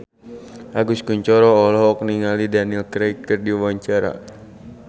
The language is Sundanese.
Agus Kuncoro olohok ningali Daniel Craig keur diwawancara